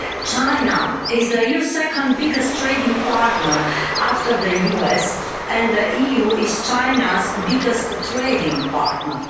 China is the EU's second biggest trading partner after the US, and the EU is China's biggest trading partner.